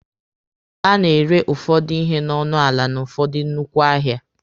A na-ere ụfọdụ ihe n'ọnụ ala n'ụfọdụ nnukwu ahịa.